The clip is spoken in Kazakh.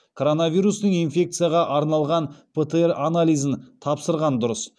коронавирустық инфекцияға арналған птр анализін тапсырған дұрыс